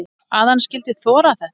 Að hann skyldi þora þetta!